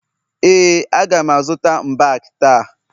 ee, a ga m azụta mbak taa